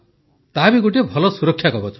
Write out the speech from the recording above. ତାହା ବି ଗୋଟିଏ ଭଲ ସୁରକ୍ଷାକବଚ